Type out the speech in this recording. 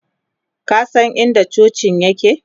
ka San in da cocin yake?